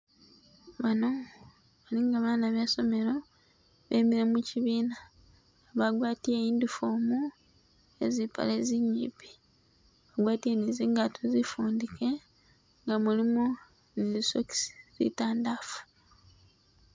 Bano balinga bana be somelo bemile muchibiina bagwatile uniform yezipale zinyipi gwatile nizingato zifunike nga mulimu zi stocks zitandafu